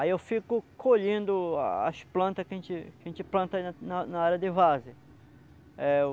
Aí eu fico colhendo a as plantas que a gente que a gente planta aí na área de varzea. É